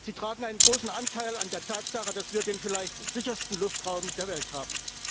Sie tragen einen großen Anteil an der Tatsache, dass wir den vielleicht sichersten Luftraum der Welt haben.